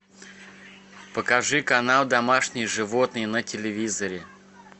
покажи канал домашние животные на телевизоре